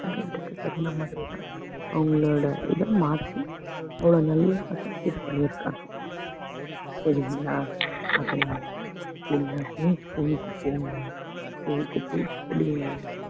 student க்கு தகுந்த மாதிரிதான் அவங்களோட இத மாத்தி அவ்வளோ நல்லா இது பண்ணியிருக்காங்க புரியுதுங்கங்களா